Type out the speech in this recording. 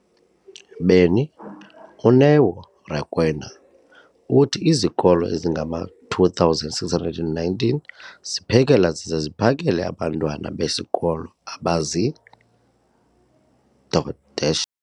beni, uNeo Rakwena, uthi izikolo ezingama-2,619 ziphekela zize ziphakele abantwana besikolo abazi- double dash